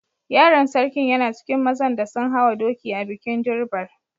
Yaron sarkin yana cikin mazan da sun hawa doki a'bikin Durbar.